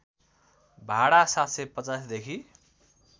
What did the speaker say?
भाडा ७५० देखि